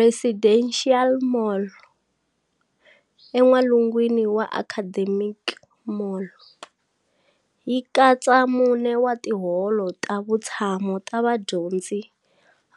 Residential Mall, en'walungwini wa Academic mall, yi katsa mune wa tiholo ta vutshamo ta vadyondzi